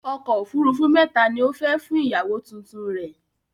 Ọkọ̀ òfurufú mẹ́ta ni ó fẹ́ fún ìyàwó tuntun rẹ̀